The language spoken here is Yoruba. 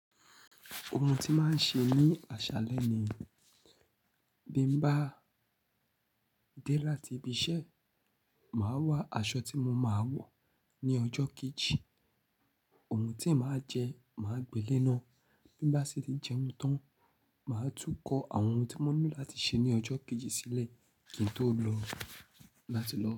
Ohun tí màá ń ṣe ní àṣálẹ́ ni bí m bá dé láti ibi iṣẹ́, màá wá aṣọ tí mo máa wọ̀ ní ọjọ́ kejì. Ohun tí màá jẹ, màá gbé lé ná. Bí mbá sì tí jẹun tán, màá tún kó àwọn ohun tí mo ní láti ṣe ní ọjọ́ kejì sílẹ̀ kí n tó lọ láti lọ.